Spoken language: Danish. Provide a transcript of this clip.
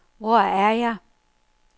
Hvor er jeg